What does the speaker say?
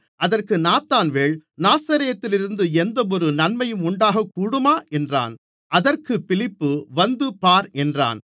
அதற்கு நாத்தான்வேல் நாசரேத்திலிருந்து எந்தவொரு நன்மை உண்டாகக் கூடுமா என்றான் அதற்குப் பிலிப்பு வந்து பார் என்றான்